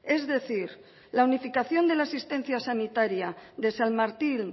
es decir la unificación de la asistencia sanitaria de san martin